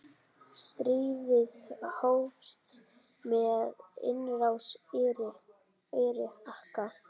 Stríðið hófst með innrás Íraka.